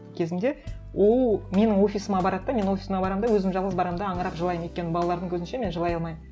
кезінде ол менің офисыма барады да мен офисыма барамын да өзім жалғыз барамын да аңырап жылаймын өйткені балалардың көзінше мен жылай алмаймын